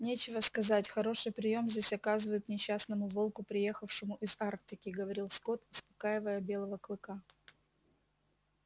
нечего сказать хороший приём здесь оказывают несчастному волку приехавшему из арктики говорил скотт успокаивая белого клыка